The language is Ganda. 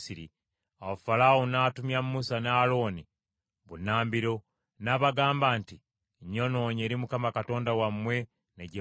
Awo Falaawo n’atumya Musa ne Alooni bunnambiro, n’abagamba nti, “Nnyonoonye eri Mukama Katonda wammwe ne gye muli.